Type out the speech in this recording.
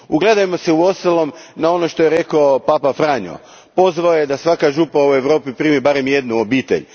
Ugledajmo se uostalom na ono što je rekao papa Franjo, pozvao je da svaka župa u Europi primi barem jednu obitelj.